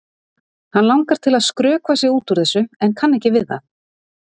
Hann langar til að skrökva sig út úr þessu en kann ekki við það.